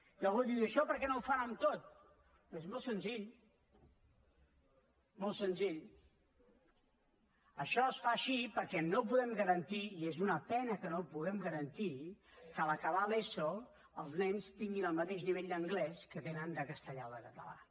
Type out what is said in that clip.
i algú diu i això per què no ho fan amb tot doncs molt senzill molt senzill això es fa així perquè no podem garantir i és una pena que no ho puguem garantir que a l’acabar l’eso els nens tinguin el mateix nivell d’anglès que tenen de castellà o de català